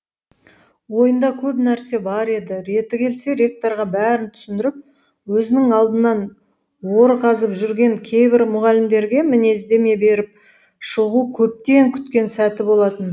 ойында көп нәрсе бар еді реті келсе ректорға бәрін түсіндіріп өзінің алдынан ор қазып жүрген кейбір мұғалімдерге мінездеме беріп шығу көптен күткен сәті болатын